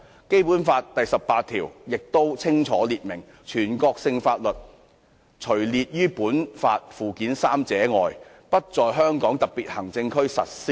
《基本法》第十八條清楚訂明，"全國性法律除列於本法附件三者外，不在香港特別行政區實施"。